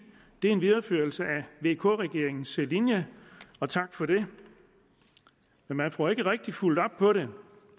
det er en videreførelse af vk regeringens linje og tak for det men man får ikke rigtig fulgt op på det